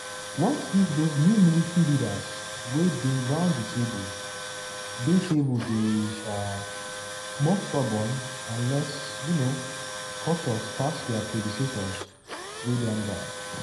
what if dose new military leaders wey dey round di table dey table dey um more stubborn and less um cautious pass dia predecessors wey don die?